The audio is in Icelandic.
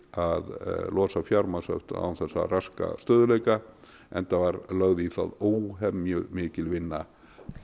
að losa fjármagnshöft án þess að raska stöðugleika enda var lögð í það óhemjumikil vinna